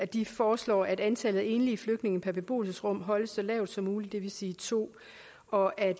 de foreslår at antallet af enlige flygtninge per beboelsesrum holdes så lavt som muligt det vil sige to og at